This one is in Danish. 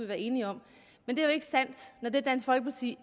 være enige om men det er jo ikke sandt når det dansk folkeparti